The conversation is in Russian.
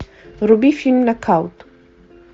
вруби фильм нокаут